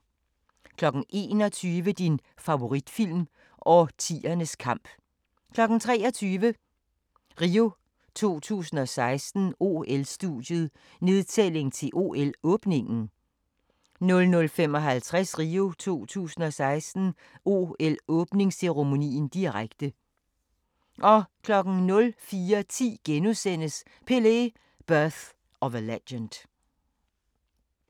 21:00: Din favoritfilm – Årtiernes kamp 23:00: RIO 2016: OL-studiet, nedtælling til OL-åbningen 00:55: RIO 2016: OL-åbningsceremonien, direkte 04:10: Pelé: Birth of a Legend *